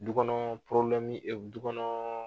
Du kɔnɔ du kɔnɔ